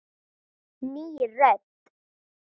Ný rödd.